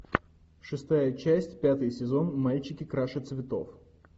шестая часть пятый сезон мальчики краше цветов